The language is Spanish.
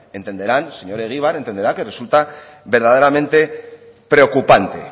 entenderá señor egibar que resulta verdaderamente preocupante